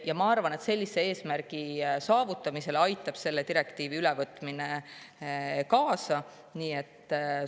" Ma arvan, et selle direktiivi ülevõtmine aitab kaasa selle eesmärgi saavutamisele.